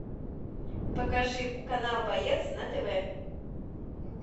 покажи канал боец на тв